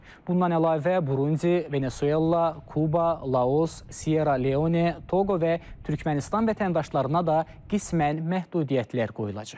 Bundan əlavə Burundi, Venesuela, Kuba, Laos, Sierra Leone, Toqo və Türkmənistan vətəndaşlarına da qismən məhdudiyyətlər qoyulacaq.